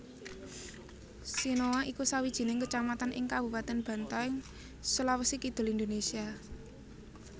Sinoa iku sawijining kecamatan ing Kabupaten Bantaeng Sulawesi Kidul Indonesia